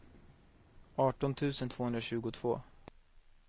arton tusen tvåhundratjugotvå